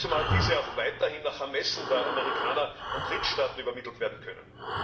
Zumal diese auch weiterhin nach Ermessen der Amerikaner an Drittstaaten übermittelt werden können.